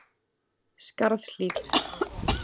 Skarðshlíð